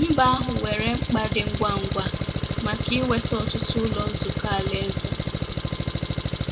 Mba ahụ nwere mkpa dị ngwa ngwa maka inweta ọtụtụ Ụlọ Nzukọ Alaeze.